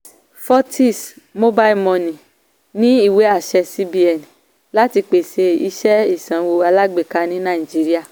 fortis mobile money ní ìwé-àṣẹ cbn láti pèsè iṣẹ́ ìsanwó alágbèká ní naijiría.